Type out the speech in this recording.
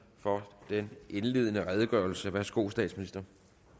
for den indledende redegørelse værsgo til statsministeren